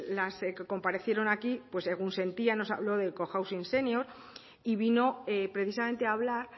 las que comparecieron aquí pues egunsentia nos habló del cohousing senior y vino precisamente a hablar